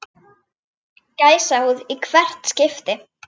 Gæsahúð í hvert skipti.